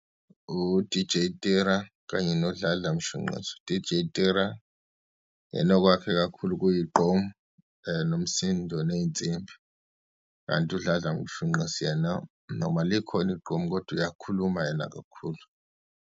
U-D_J Tira, kanye noDladla Mshunqisi. U-D_J Tira uyena owakhe kakhulu kuyiqqom, nomsindo, neyinsimbi, kanti uDladla Mshunqisi yena, noma likhona igqom, kodwa uyakhuluma yena kakhulu.